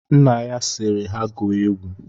Nna ya sịrị ha gụọ egwu.